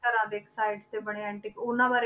ਘਰਾਂ ਦੇ ਇੱਕ side ਤੇ ਬਣੇ antique ਉਹਨਾਂ ਬਾਰੇ